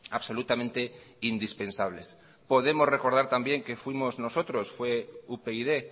absolutamente indispensables podemos recordar también que fuimos nosotros fue upyd